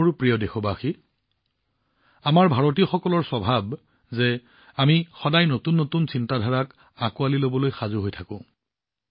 মোৰ প্ৰিয় দেশবাসী আমি ভাৰতীয়সকলৰ স্বভাৱ যে আমি সদায় নতুন নতুন ধাৰণাক আদৰিবলৈ সাজু হৈ থাকোঁ